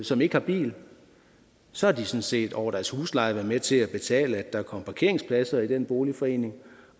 som ikke har bil sådan set over deres husleje vil være med til at betale for at der er kommet parkeringspladser i den boligforening